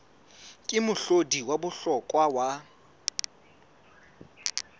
ke mohlodi wa bohlokwa wa